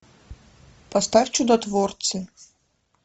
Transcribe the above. поставь чудотворцы